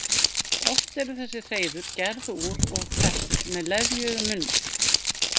Oft eru þessi hreiður gerð úr og fest með leðju eða munnvatni.